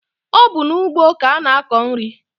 Ọ bụ n'ugbo ka a na-akọ nri.